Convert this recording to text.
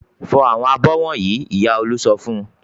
"Fọ àwọn abọ́ wọ̀nyí!" Ìyá Olú sọ fún un.